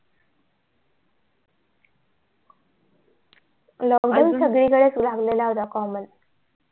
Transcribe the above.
lockdown सगळी कडे च लागलेला होता common